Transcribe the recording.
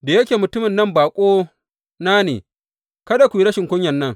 Da yake mutumin nan baƙona ne, kada ku yi rashin kunyan nan.